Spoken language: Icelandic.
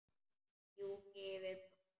Fjúki yfir brúna.